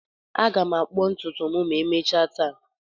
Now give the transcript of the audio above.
Aga m akpuo ntutu m ma emechaa taa.